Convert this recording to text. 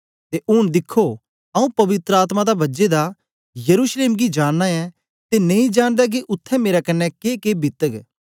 ते ऊन दिखो आंऊँ पवित्र आत्मा दा बझे दा यरूशलेम गी जाना ऐं ते नेई जानदा के उत्थें मेरे क्न्ने के के बितग